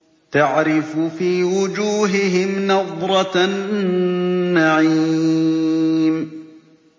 تَعْرِفُ فِي وُجُوهِهِمْ نَضْرَةَ النَّعِيمِ